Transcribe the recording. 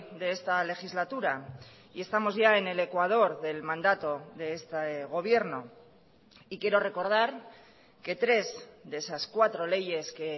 de esta legislatura y estamos ya en el ecuador del mandato de este gobierno y quiero recordar que tres de esas cuatro leyes que